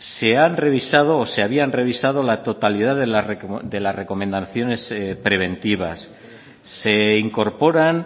se han revisado o se habían revisado la totalidad de las recomendaciones preventivas se incorporan